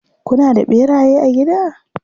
Kuna da ɓeraye a gida?